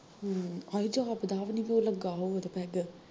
ਹਮ ਹਾਏ ਜਾਪਦਾ ਵੀ ਨੀ ਵੀ ਉਹਦੇ ਲੱਗਾ ਹੋਉਗਾ ਤੇ ਪੈੱਗ